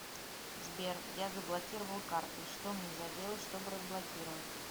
сбер я заблокировал карты что мне заделать что бы разблокировать